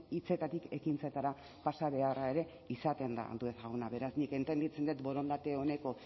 hitzetatik ekintzetara pasa beharra ere izaten da andueza jauna beraz nik entenditzen dut borondate oneko